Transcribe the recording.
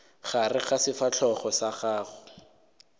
gare ga sefahlogo sa gago